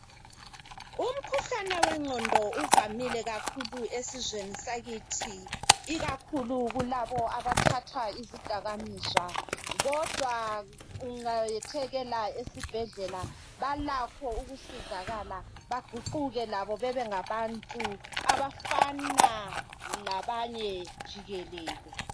Umkhuhlane wengqondo uvamile kakhulu esizweni sakithi ikakhulu kulabo abathatha izidakamizwa kodwa ungayethekela esibhedlela balakho ukusizakala. Baguquke labo bebengabantu abafana labanye jikelele.